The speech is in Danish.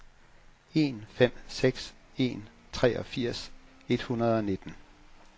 en fem seks en treogfirs et hundrede og nitten